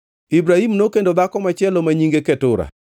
Ibrahim nokendo dhako machielo mane nyinge Ketura.